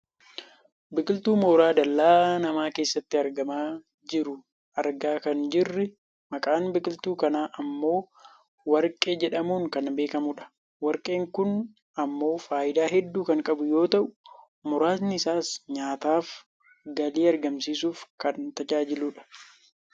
Biqiltuu mooraa dallaa namaa keessatti argamaa jiru argaa kan jirrii maqaan biqiltuu kanaa ammoo warqee jedhamuun kan beekkamudha. Warqeen kun ammoo fayidaaa hedduu kan qabu yoo ta'u , muraasni isaa nyaataaf galii argamsiisuuf kan tajajiluudha.